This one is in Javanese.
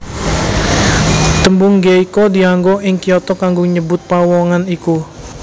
Tembung geiko dianggo ing Kyoto kanggo nyebut pawongan iku